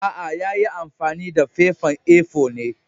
Aa, ya yi amfani da fefan A-four ne.